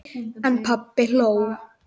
En pabbi hló.